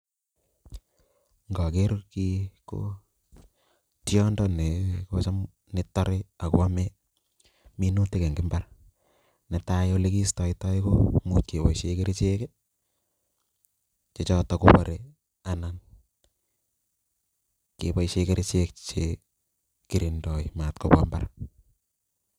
Ng'oker kii ko tiondo netore ak ko amee minutik eng' imbar, netai olekistetoi Koo much keboishen kerichek chechoton kobore anan keboishen kerichek matkobwa imbar.